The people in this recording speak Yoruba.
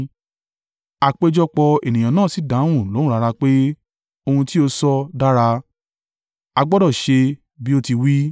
Àpéjọpọ̀ ènìyàn náà sì dáhùn lóhùn rara pé, ohun tí ó sọ dára! A gbọdọ̀ ṣe bí o ti wí.